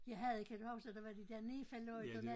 Jeg havde kan du huske der var de der Nefa lygterne